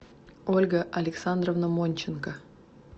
ольга александровна монченко